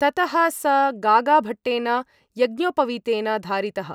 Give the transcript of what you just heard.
ततः स गागाभट्टेन यज्ञोपवीतेन धारितः।